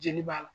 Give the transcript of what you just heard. Jeli b'a la